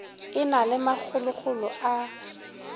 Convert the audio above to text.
e na le makgokgolo a